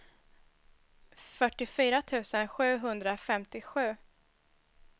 fyrtiofyra tusen sjuhundrafemtiosju